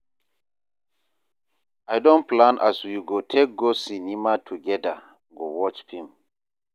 I don plan as we go take go cinema togeda go watch film.